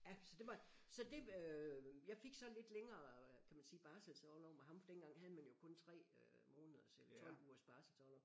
Ja så det var så det øh jeg fik så lidt længere kan man sige barselsorlov med ham for dengang havde man jo kun 3 øh måneders eller 12 ugers barselsorlov